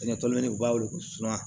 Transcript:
u b'a weele ko suman